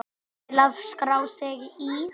Til að skrá sig í